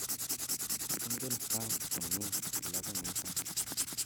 Ingen Frank komie kilabit niton